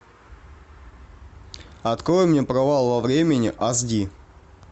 открой мне провал во времени аш ди